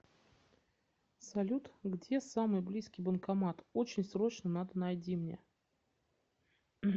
салют где самый близкий банкомат очень срочно надо найди мне